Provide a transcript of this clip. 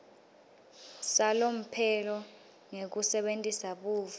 salomphelo ngekusebentisa buve